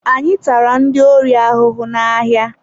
Anyị tara ndị ori ahụhụ na-ahịa.